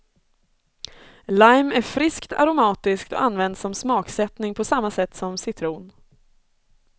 Lime är friskt aromatisk och används som smaksättning på samma sätt som citron.